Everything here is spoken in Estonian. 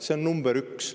See on number üks.